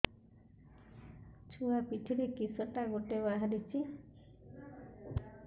ଛୁଆ ପିଠିରେ କିଶଟା ଗୋଟେ ବାହାରିଛି